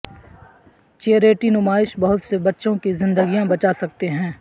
charity نمائش بہت سے بچوں کی زندگیاں بچا سکتے ہیں